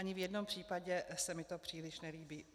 Ani v jednom případě se mi to příliš nelíbí.